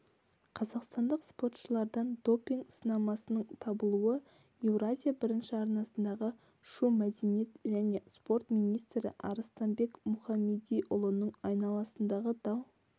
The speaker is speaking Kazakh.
қазақстандық спортшылардан допинг-сынамасының табылуы еуразия бірінші арнасындағы шу мәдениет және спорт министрі арыстанбек мұхамедиұлының айналасындағы дау